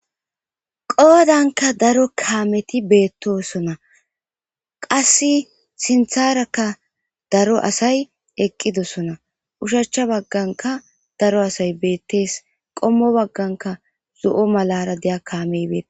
Qoodanka daro kaameti beettosona qasse sintharakka daro asay eqqidosona ushachcha bagganka daro asay beettees qommo bagganka zo7o malara deya kaamey beetes.